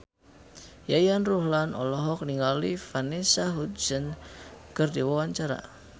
Yayan Ruhlan olohok ningali Vanessa Hudgens keur diwawancara